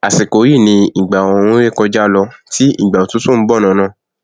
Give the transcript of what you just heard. àsìkò yí ni ìgbà ooru nré kọjá lọ tí ìgbà òtútù nbọ lọnà